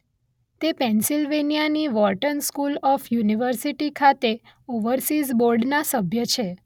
તે Pennsylvania Wharton school of university ખાતે overseas બોર્ડના સભ્ય છે.